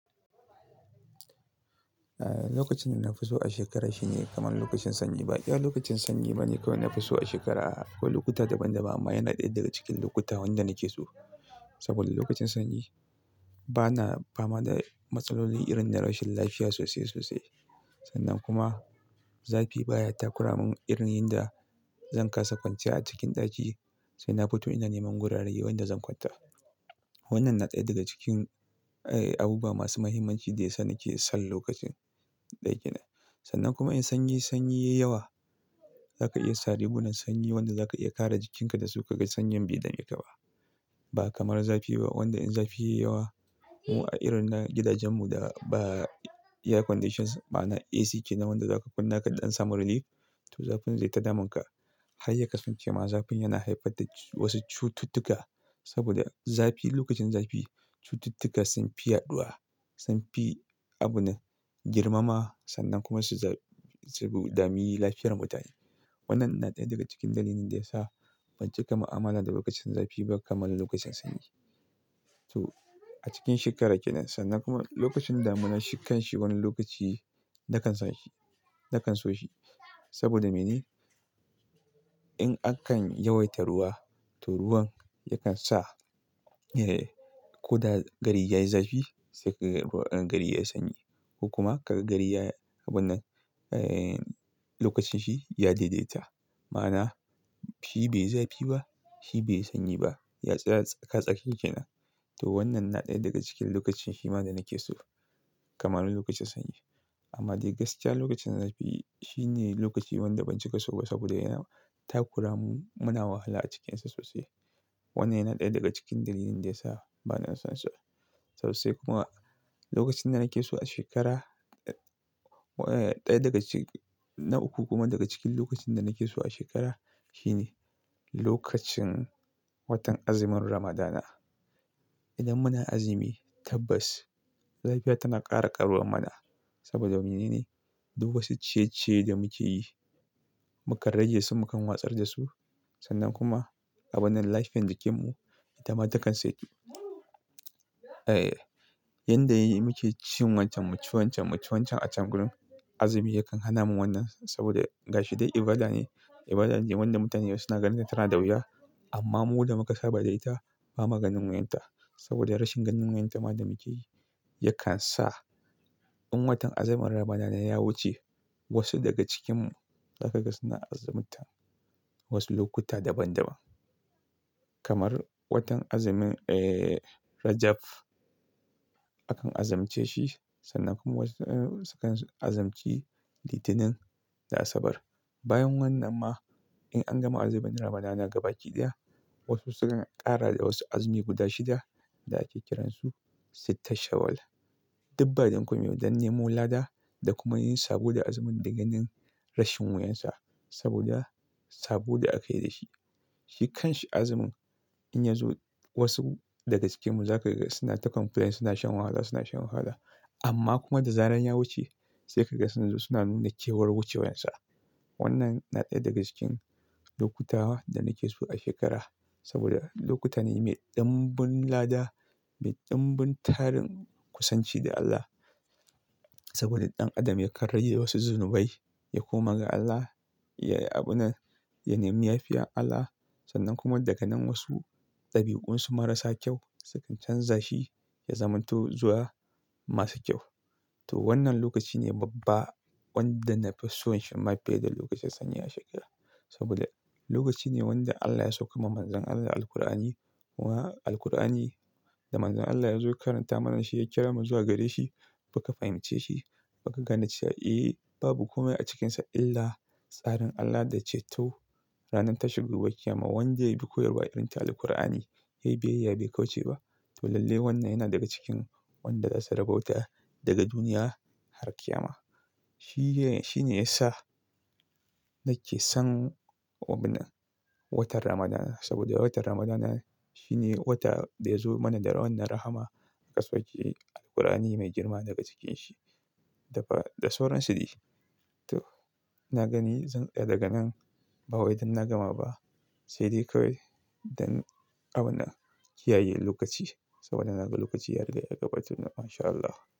Eh, lokacin da na fi so a shekara shine kamar lokacin sanyi. Ba iya lokacin sanyi bane kawai na fi so a shekara. Akwai lokuta daban-daban amma yana ɗaya daga cikin lokuta wanda nake so. Saboda lokacin sanyi bana fama da matsaloli irin na rashin lafiya sosai sosai. Sannan kuma zafi baya takura mun irin yin da zan kasa kwanciya a cikin ɗaki sai na fito ina neman gurare wanda zan kwanta. Wannan na ɗaya daga cikin, eh abubuwa masu muhimmanci da ya sa nake son lokacin ɗaya ke nan. Sannan kuma in sanyi, sanyi yayi yawa, zaka iya sa rigunan sanyi wanda za ka iya kare jikinka dasu ka ga sanyin bai dami ka ba. Ba kamar zafi ba wanda in zafi yayi yawa, mu a irin na gidajen mu da ba air conditions ma'ana AC kenan wanda zaka kunna kaɗan in samu relief to zafin zai ta damun ka. Har ya kasance ma zafin yana haifar da wasu cututtuka. Saboda zafi lokacin zafi cututtuka sun fi yaɗuwa, sun fi abun nan girmama sannan kuma su dami lafiyar mutane. Wannan na ɗaya daga cikin dalilin da ya sa ban cika ma amala da lokacin zafi ba kamar lokacin sanyi. To a cikin shekara ke nan sannan kuma lokacin damuna shi kanshi wani lokaci nakan sa shi, nakan so shi. Saboda mene? In akan yawaita ruwa to ruwan yakan sa, eh koda gari yayi zafi sai ka ga ruwan, gari yayi sanyi. Ko kuma ka ga gari ya abuna, eh lokacin shi ya daidaita. Ma'ana shi bai zafi ba, shi bai sanyi ba. Ya tsaya a tsaka tsakiya ke nan. To wannan na ɗaya daga cikin lokacin shi ma da nake so kamar na lokacin sanyi. Amma dai gaskiya lokacin zafi shine lokaci wanda ban ci ka so ba saboda yana takura mun, muna wahala a cikinsa sosai. Wannan yana ɗaya daga cikin dalilin da ya sa bana son sa sosai kuma lokacin da nake so a shekara, eh ɗaya daga cikin, na uku kuma daga cikin lokacin da nake so a shekara shine lokacin watan azumin Ramadana. Idan muna azumi tabbas lafiya tana ƙara ƙaruwa mana. Saboda mene ne? Duk wasu ciye-ciye da muke yi muka rage su mukan watsar da su. Sannan kuma abunan lafiyan jikin mu itama takan saitu. Eh, yanda muke ci mu ci wancan mu ci wancan mu ci wancan a can gurin azumi yakan hana mu wannan saboda gashi dai ibada ne. Ibada ne wanda mutane suna ganin tana da wuya amma mu da muka saba da ita bamu gani wuyar ta. Saboda rashin ganin wuyar ta ma da muke yi yakan sa in watan azumin Ramadana ya wuce wasu daga cikinmu za ka ga suna azumta wasu lokuta daban daban. Kamar watan azumin, eh Rajab akan azumce shi sannan kuma wasu, eh sukan azumci Litinin da Asabar. Bayan wannan ma in an gama azumin Ramadana gaba ki ɗaya wasu sukan ƙara da wasu azumi guda shida da ake kiran su Sitta Shawwal. Dak ba dan komai ba don nemo lada da kuma yin sabo da azumin da ganin rashin wuyar sa saboda saboda aka yi da shi. Shi kanshi azumin in ya zo wasu daga cikinmu za ka ga suna ta complain suna shan wahala suna shan wahala. Amma kuma da zaran ya wuce sai ka ga suzu suna nuna cewar wucewar sa. Wannan na ɗaya daga cikin lokuta da nake so a shekara saboda lokuta ne mai ɗanbun lada mai ɗanbun tarin kusanci da Allah. Saboda ɗan adam ya karye wasu zunubai ya koma ga Allah ya yi abuna, ya nemi lafiya Allah. Sannan kuma daga nan wasu ɗabi'un su marasa kyau sukan canza shi ya zamanto zuwa masu kyau. To wannan lokaci ne babban wanda na fi son shi ma fiye da lokacin sanyi a shekara. Saboda lokaci ne wanda Allah ya saukar ma Manzon Allah Alqur'ani. Wa Alqur'ani da Manzon Allah ya zo ya karanta mana shi ya kira mu zuwa gare shi muka fahimce shi muka gane cewa eh babu kome a cikinsa illa tsarin Allah da ce to ranar ta shigo baƙi yama wanda ya bi koyarwa irin ta Aliqur'ani ya yi biyayya bai kauce ba. To lalle wannan yana daga cikin wanda za su rabauta daga duniya har kiyama. Shi ne, shi ne ya sa nake son abuna watan Ramadana saboda watan Ramadana shine wata da ya zo mana da wannan rahama ka sauke Alqur'ani mai girma daga cikin shi. Dafa da sauran su dai to na gani zan, daga nan ba wai idan na gama ba sai dai kawai don abuna kiyayi lokaci saboda na ga lokaci ya riga ya gabatu nan mashallah.